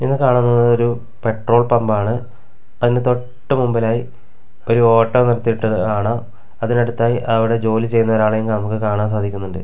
ഇത് കാണുന്നത് ഒരു പെട്രോൾ പമ്പാണ് അതിന് തൊട്ട് മുമ്പലായി ഒരു ഓട്ടോ നിർത്തിയിട്ടത് കാണാം അതിന് അടുത്തായി അവിടെ ജോലി ചെയ്യുന്ന ഒരാളെ നമുക്ക് കാണാൻ സാധിക്കുന്നുണ്ട്.